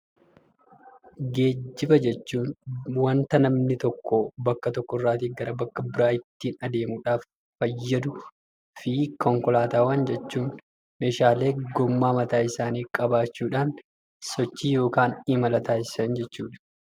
Geejjiba jechuun wanta namni tokkoo bakka tokkorraatii gara bakka biraa ittiin adeemuudhaaf fayyaduu fi konkolaataawwan jechuun meeshaalee gommaa mataa isaanii qabaachuudhaan sochii yookaan imala taasisan jechuudha.